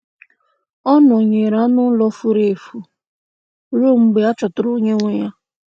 Ọ nọnyeere anụ ụlọ furu efu ruo mgbe a chọtara onye nwe ya.